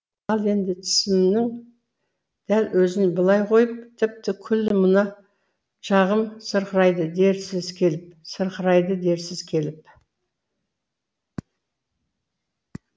ал енді тісімнің дәл өзін былай қойып тіпті күллі мына жағым сырқырайды дерсіз келіп сырқырайды дерсіз келіп